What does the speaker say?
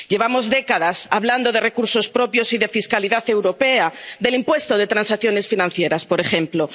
Llevamos décadas hablando de recursos propios y de fiscalidad europea, del impuesto de transacciones financieras, por ejemplo.